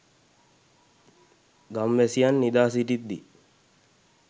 ගම්වැසියන් නිදා සිටිද්දී